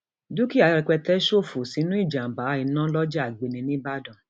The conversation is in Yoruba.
dúkìá rẹpẹtẹ ṣòfò sínú ìjàǹbá iná lọjà àgbèní nìbàdàn